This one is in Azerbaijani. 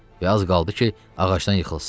Və az qaldı ki, ağacdan yıxılsın.